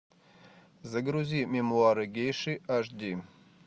загрузи мемуары гейши аш ди